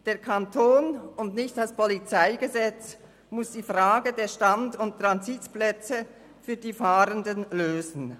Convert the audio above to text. Der Kanton und nicht das PolG muss die Frage der Stand- und Transitplätze für die Fahrenden lösen.